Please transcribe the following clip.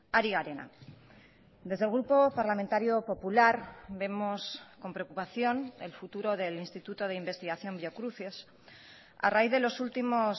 ari garena desde el grupo parlamentario popular vemos con preocupación el futuro del instituto de investigación biocruces a raíz de los últimos